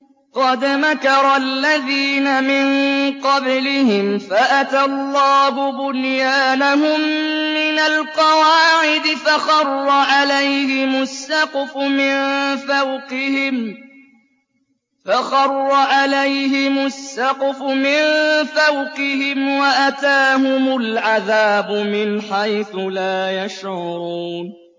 قَدْ مَكَرَ الَّذِينَ مِن قَبْلِهِمْ فَأَتَى اللَّهُ بُنْيَانَهُم مِّنَ الْقَوَاعِدِ فَخَرَّ عَلَيْهِمُ السَّقْفُ مِن فَوْقِهِمْ وَأَتَاهُمُ الْعَذَابُ مِنْ حَيْثُ لَا يَشْعُرُونَ